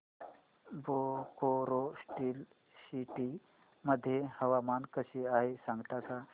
Bokaro steel city मध्ये हवामान कसे आहे सांगता का